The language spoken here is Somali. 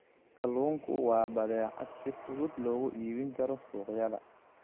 Kalluunku waa badeecad si fudud loogu iibin karo suuqyada.